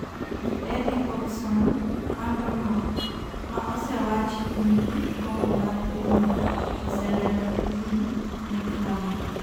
gi Eddie Hogson mar Bournemouth ma osewach ni nigi gombo mar tijno oselero tijgi ne klab no